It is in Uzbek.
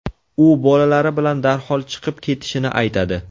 U bolalari bilan darhol chiqib ketishini aytadi.